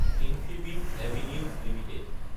Infibeam Avenues Ltd